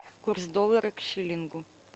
курс доллара к шиллингу